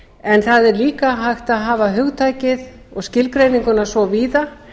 en það er líka hægt að hafa hugtakið og skilgreininguna svo víða